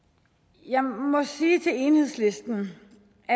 jeg må sige til enhedslisten